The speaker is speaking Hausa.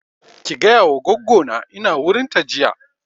Ki gaya wa goggo na ina wurin ta jiya